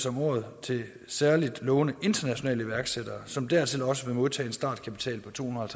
om året til særlig lovende internationale iværksættere som dertil også vil modtage en startkapital på tohundrede og